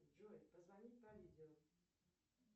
джой позвонить по видео